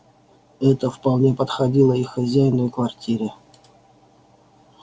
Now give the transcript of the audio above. это вполне подходило и хозяину и квартире